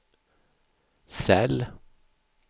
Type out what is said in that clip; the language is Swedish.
cell